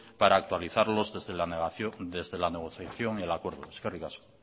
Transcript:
para autorizarlos desde la negociación y el acuerdo eskerrik asko